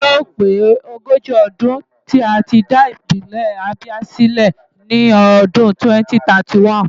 Yóò pé ogójì ọdún tí a dá Ìpínlẹ̀ Abia sílẹ̀ ní ọdún 2031.